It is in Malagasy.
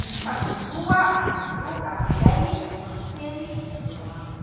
mifanongoa anankiroa ary lay mavokely no eo aminy.